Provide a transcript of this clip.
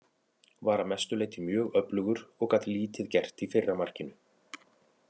Var að mestu leyti mjög öflugur og gat lítið gert í fyrra markinu.